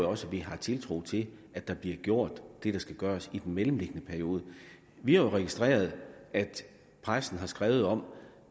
også at vi har tiltro til at der bliver gjort det der skal gøres i den mellemliggende periode vi har jo registreret at pressen har skrevet om